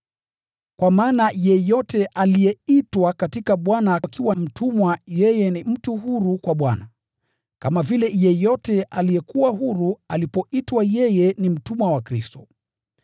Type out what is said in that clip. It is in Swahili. Kwa maana yeyote aliyeitwa katika Bwana akiwa mtumwa yeye ni mtu huru kwa Bwana, kama vile yeyote aliyekuwa huru alipoitwa yeye ni mtumwa wa Kristo.